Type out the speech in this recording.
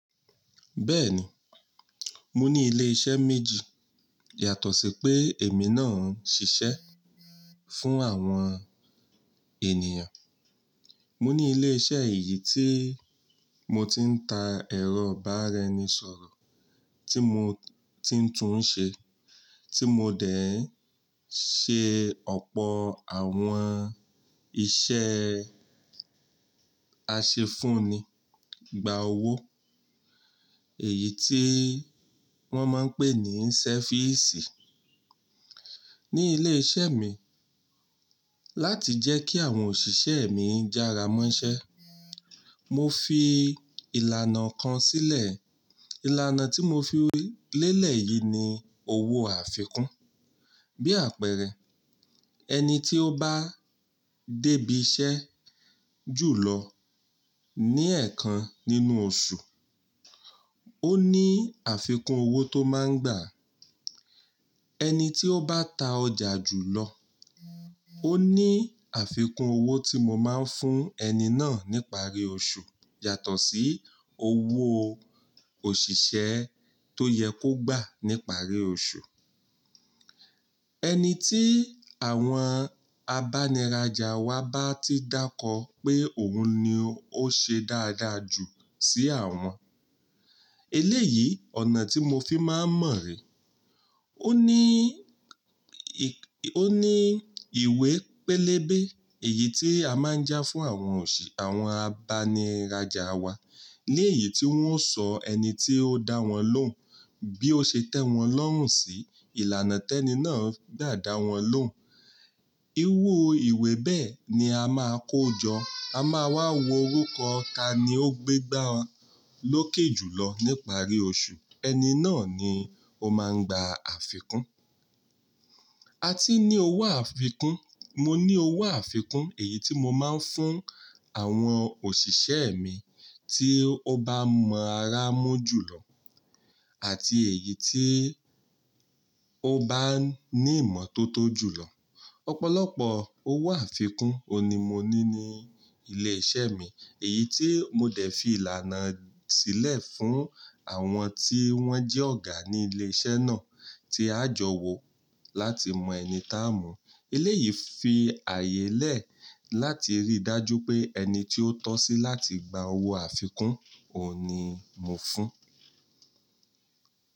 Bẹ́ẹ̀ni, mo ní ilé iṣẹ́ méjì yàtọ̀ sí pé èmi náà ń ṣiṣẹ́ fún àwọn ènìyàn. Mo ní ilé iṣẹ́ èyí tí mo ti ń ta ẹ̀rọ ìbáraẹnisọ̀rọ̀ tí mo ti ń tún ṣe, tí mo dẹ̀ ṣe ọ̀pọ̀ àwọn iṣẹ́ àṣefúnni, gba owó, èyí tí wọ́n máa ń pè ní ṣẹ́físì. Ní ilé iṣẹ́ mi, láti jẹ́ kí àwọn òṣìṣẹ́ mi jára mọ́ iṣẹ́, mo fi ìlànà kan sílẹ̀. Ìlànà tí mo fi lélẹ̀ yìí ni owó àfikún. Bí àpẹẹrẹ, ẹni tí ó bá débi iṣẹ́ jùlọ ní ẹ̀ẹ̀kan nínú oṣù, ó ní àfikún owó tó máa ń gbà. Ẹni tí ó bá ta ọjà jùlọ, ó ní àfikún owó tí mo máa ń fún ẹni náà nípa rí oṣù yàtọ̀ sí owó òṣìṣẹ́ tó yẹ kó gbà nípa rí oṣù. Ẹni tí àwọn abániràjà wa bá ti dákọ pé òun ni ó ṣe dáadáa jù sí àwọn, eléyìí ọ̀nà tí mo fi máa ń mọ̀ re. Oní ó ní ìwé pélébé èyí tí a máa ń já fún àwọn òṣì, àwọn abániràjà wa. Lẹ́yìn tí wọ́n sọ ẹni tí ó dáwọn lóhùn bí ó ṣe tẹ́ wọn lọ́rùn sí, ìlànà tẹ́ni náà gbà dáwọn lóhùn. Irú ìwé bẹ́ẹ̀ ni a máa kó jọ, a máa wá wo orúkọ ta ni ó gbé gbá a lókè jùlọ nípa rí oṣù. Ẹni náà ni ó máa ń gba àfikún. A ti ní owó àfikún, mo ní owó àfikún èyí tí mo máa ń fún àwọn òṣìṣẹ́ mi tí ó bá mọ ara mú jùlọ àti èyí tí ó bá ní ìmọ́tótó jùlọ. Ọ̀pọ̀lọpọ̀ owó àfikún òní mo ní ní ilé iṣẹ́ mi, èyí tí mo dẹ̀ fi ìlànà sílẹ̀ fún àwọn tí wọ́n jẹ́ ọ̀gá ní ilé iṣẹ́ náà tí a jọ wò láti mọ ẹni tá a mú. Eléyìí fi àyè lẹ̀ láti rí dájú pé ẹni tí ó tọ́ sí láti gba owó àfikún òun ní mo fún.